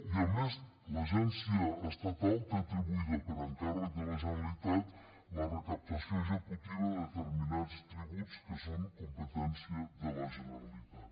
i a més l’agència estatal té atribuïda per encàrrec de la generalitat la recaptació executiva de determinats tributs que són competència de la generalitat